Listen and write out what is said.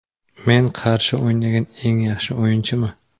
Men qarshi o‘ynagan eng yaxshi o‘yinchimi?